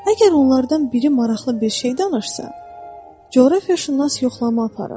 Əgər onlardan biri maraqlı bir şey danışsa, coğrafiyaşünas yoxlama aparır.